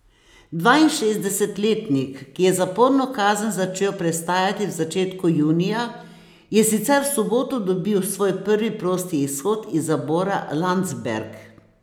Dvainšestdesetletnik, ki je zaporno kazen začel prestajati v začetku junija, je sicer v soboto dobil svoj prvi prosti izhod iz zapora Landsberg.